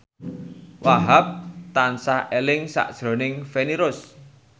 Wahhab tansah eling sakjroning Feni Rose